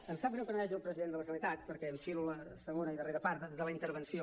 em sap greu que no hi hagi el president de la generalitat perquè enfilo la segona i darrera part de la intervenció